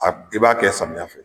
A i b'a kɛ samiyɛya fɛ.